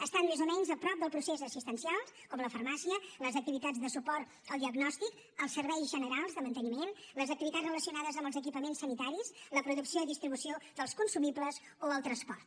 estan més o menys a prop del procés assistencial com la farmàcia les activitats de suport al diagnòstic els serveis generals de manteniment les activitats relacionades amb els equipaments sanitaris la producció i distribució dels consumibles o el transport